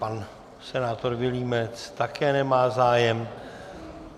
Pan senátor Vilímec také nemá zájem.